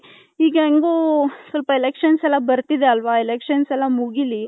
ಈಗ ಏನ್ಗು ಸ್ವಲ್ಪ elections ಎಲ್ಲಾ ಬರ್ತಿದೆ ಅಲ್ವ elections ಎಲ್ಲಾ ಮುಗಿಲಿ.